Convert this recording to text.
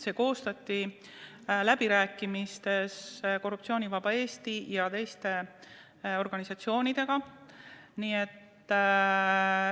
See koostati läbirääkimistes Korruptsioonivaba Eesti ja teiste organisatsioonidega.